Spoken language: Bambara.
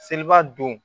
Seliba don